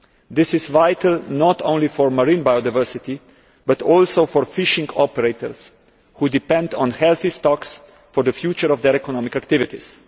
This is vital not only for marine biodiversity but also for fishing operators who depend on healthy stocks for the future of their economic activities.